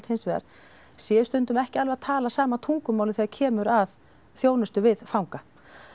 hins vegar sé stundum ekki alveg að tala sama tungumálið þegar kemur að þjónustu við fanga